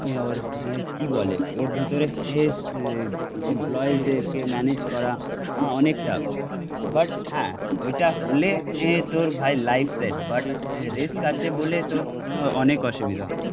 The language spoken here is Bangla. ওর কি বলে ওর ভিতরে এ এমপ্লয়ীজদেরকে ম্যানেজ করা অনেক টাফ, বাট হ্যাঁ ওইটা হলে তোর ভাই লাইফ সেট বাট রিস্ক আছে বলে তোর অনেক অসুবিধা